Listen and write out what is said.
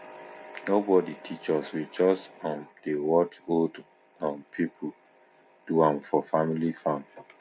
nobody teach us we just um dey watch old um people do am for family farm